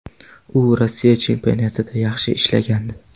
U Rossiya chempionatida yaxshi ishlagandi.